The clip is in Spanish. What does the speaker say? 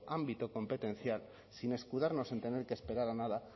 ámbito competencial sin escudarnos en tener que esperar a nada